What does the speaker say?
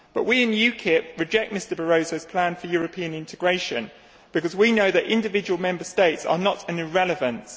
But we in UKIP reject Mr Barroso's plan for European integration because we know that individual Member States are not an irrelevance.